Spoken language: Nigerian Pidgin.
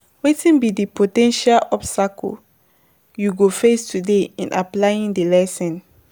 Wetin be di po ten tial obstacles you go face today in applying di lesson?